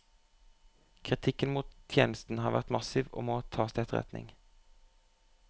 Kritikken mot tjenesten har vært massiv og må tas til etterretning.